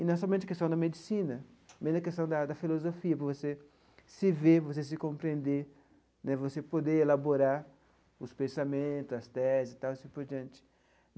E não somente a questão da medicina, mas a questão da da filosofia, para você se ver, para você se compreender né, você poder elaborar os pensamentos, as teses e tal, e assim por diante.